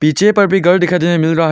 पीछे पर भी गर दिखाई देने मिल रहा है।